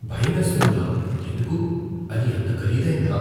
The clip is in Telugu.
భయమేస్తోందా? ఎందుకు? అది అంత ఖరీదైందా?